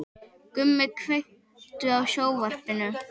Gumi, kveiktu á sjónvarpinu.